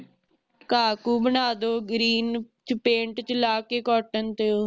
ਘਾਹ ਘੂਹ ਬਣਾ ਦੋ Green ਚ Paint ਚ ਲਾ ਕੇ ਤੇ ਉਹ